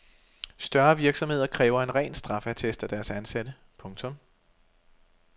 Større virksomheder kræver en ren straffeattest af deres ansatte. punktum